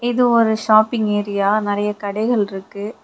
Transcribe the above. இது ஒரு shopping area நெறைய கடைகள் இருக்கு.